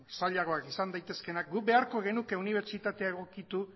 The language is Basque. zailagoak izan daitezkeenak guk beharko genuke unibertsitatea egokitu